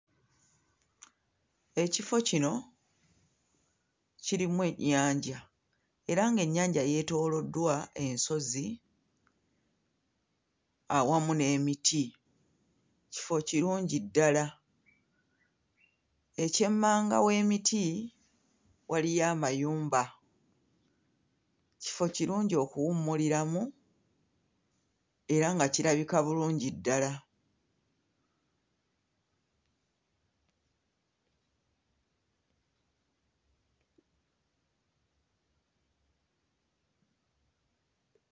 Ekifo kino kirimu ennyanja era ng'ennyanja yeetooloddwa ensozi awamu n'emiti, kifo kirungi ddala, eky'emmanga w'emiti waliyo amayumba, kifo kirungi okuwummuliramu era nga kirabika bulungi ddala.